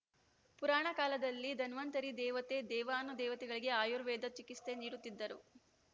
ಪುರಾಣ ಕಾಲದಲ್ಲಿ ಧನ್ವಂತರಿ ದೇವತೆ ದೇವಾನುದೇವತೆಗಳಿಗೆ ಆಯುರ್ವೇದ ಚಿಕಿತ್ಸೆ ನೀಡುತ್ತಿದ್ದರು